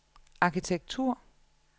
arkitektur